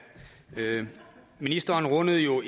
ministeren rundede jo